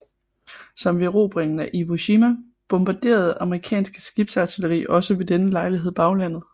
Som ved erobringen af Iwo Jima bombarderede amerikansk skibsartilleri også ved denne lejlighed baglandet